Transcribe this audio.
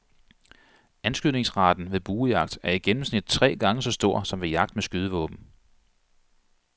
Anskydningsraten ved buejagt er i gennemsnit tre gange så stor som ved jagt med skydevåben.